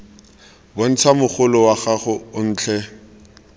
bontsha mogolo wa gago otlhe